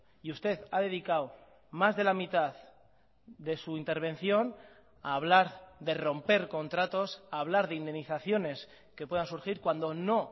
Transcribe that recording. y usted ha dedicado más de la mitad de su intervención a hablar de romper contratos a hablar de indemnizaciones que puedan surgir cuando no